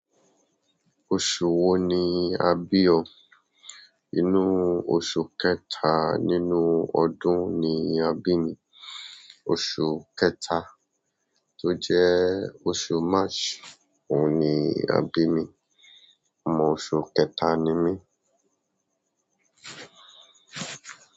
Oṣù wo ni a bí ọ? Inú ọ̀su kẹta nínú ọdún ni a bí mi. Oṣù kẹta tó jẹ́ oṣù March òun ni a bí mi. Ọmọ oṣù kẹta ni mí.